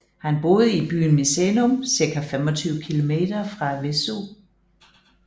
Han boede i byen Misenum ca 25 km fra Vesuv